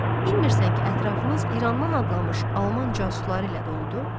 Bilmirsən ki, ətrafınız İrandan adlanmış alman casusları ilə doludu?